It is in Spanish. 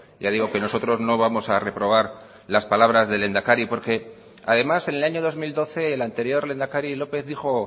ya digo que nosotros no vamos a reprobar las palabras del lehendakari porque además en el año dos mil doce el anterior lehendakari lópez dijo